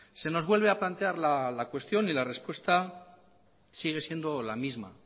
se nos vuelve a plantear la cuestión y la respuesta sigue siendo la misma